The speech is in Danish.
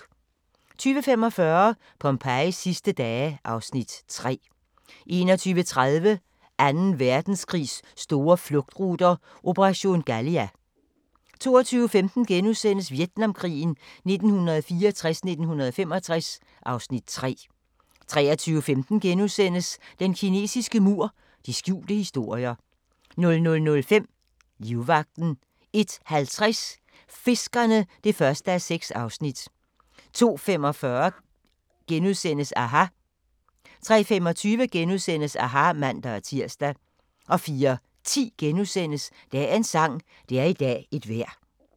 20:45: Pompejis sidste dage (Afs. 3) 21:30: Anden Verdenskrigs store flugtruter – operation Galia 22:15: Vietnamkrigen 1964-1965 (Afs. 3)* 23:15: Den kinesiske mur – de skjulte historier * 00:05: Livvagten 01:50: Fiskerne (1:6) 02:45: aHA! * 03:25: aHA! *(man-tir) 04:10: Dagens sang: Det er i dag et vejr *